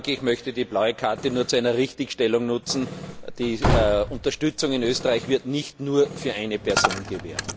Ich möchte die blaue Karte nur zu einer Richtigstellung nutzen. Die Unterstützung in Österreich wird nicht nur für eine Person gewährt.